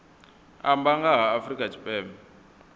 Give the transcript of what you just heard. amba nga ha afrika tshipembe